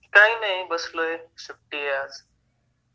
काही नाही बसलोय, सुट्टी आहे आज.